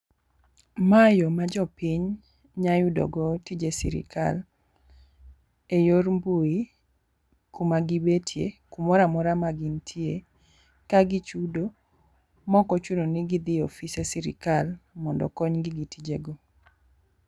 Mae yo ma jopiny nya yudo go tije sirikal e yor mbui kuma gibetie kumoramora ma gintie ka gichudo mokochuno ni gidhi e ofise sirikal mondo okony gi gi tijego.